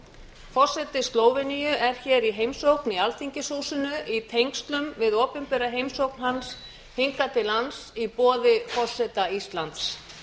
forseti slóveníu er hér í heimsókn í alþingishúsinu í tengslum við opinbera heimsókn hans hingað til lands í boði forseta íslands